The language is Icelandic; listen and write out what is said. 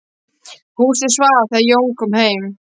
Húsið svaf þegar Jón kom heim.